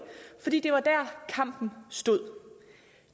fordi det var der kampen stod